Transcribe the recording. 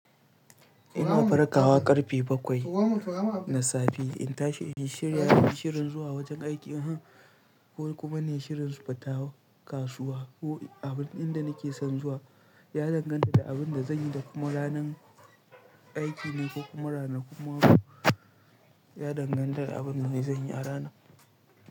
Ina barakawa ƙarfe bakwai na safe, in tashi, shi shirin zuwa wajen aiki ne ko kuma ne shirin su fita kasuwa ko abun ɗin da nake son zuwa ya danganta da abin da zanyi da kuma ranar aiki ne ko kuma ranar, kuma ya danganta da abin da zanyi a rana.